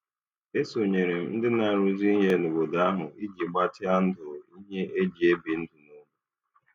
E sonyeere m ndị na-arụzi ihe n'obodo ahụ iji gbatịa ndụ ihe e ji ebi ndụ n'ụlọ.